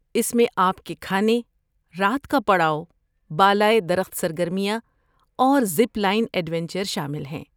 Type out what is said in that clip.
اس میں آپ کے کھانے، رات کا پڑاؤ، بالائے درخت سرگرمیاں اور زپ لائن ایڈوینچر شامل ہیں۔